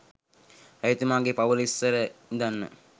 රජතුමාගෙ පවුල ඉස්සර ඉඳන්ම